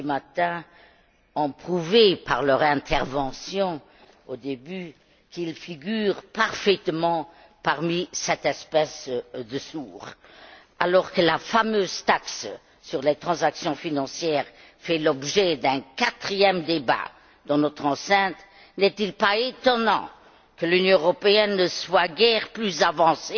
Šemeta ont prouvé par leur intervention, au début, qu'ils figurent parfaitement parmi cette espèce de sourds. Alors que la fameuse taxe sur les transactions financières fait l'objet d'un quatrième débat dans notre enceinte, n'est il pas étonnant que l'Union européenne ne soit guère plus avancée